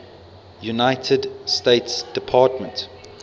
united states department